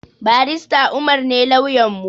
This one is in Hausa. Barista umar ne lauyanmu